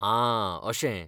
आं, अशें.